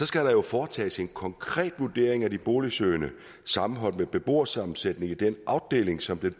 skal der jo foretages en konkret vurdering af de boligsøgende sammenholdt med beboersammensætningen i den afdeling som den